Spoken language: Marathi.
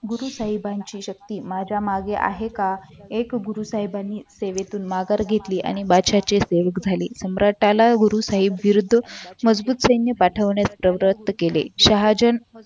गुरु साहेबांची शक्ती माझ्या मागे आहे का एक गुरु साहेबांनी सेवेतून माघार घेतली आणि आणि बादशहाचे सेवक झाले आणि सम्राटला गुरु साहेब विरुद्ध मजबूत सैन्य पाठवण्यात दौऱ्यात केले महाजन